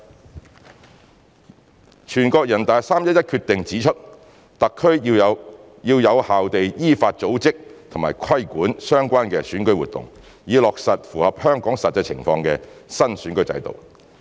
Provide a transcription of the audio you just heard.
二全國人大在3月11日的《決定》指出，特區要有效地依法組織和規管相關的選舉活動，以落實符合香港實際情況的新選舉制度。